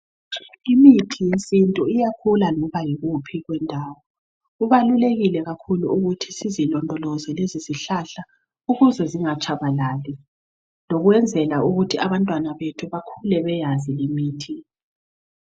Imithi yesiNtu iyakhula loba yikuphi kwendawo kubalulekile kakhulu ukuthi sizilondoloze lezizihlahla ukuze zingatshabalali lokwenzela ukuthi abantwana bethu bakhule beyazi imithi.